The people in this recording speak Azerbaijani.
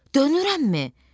Dönürəmmi?